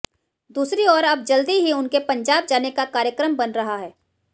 दूसरी ओर अब जल्दी ही उनके पंजाब जाने का कार्यक्रम बन रहा है